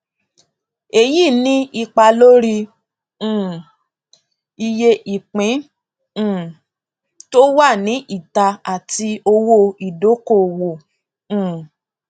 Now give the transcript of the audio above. èyí ní ipa lórí um iye ìpín um tó wà ní ìta àti owó ìdókòwò um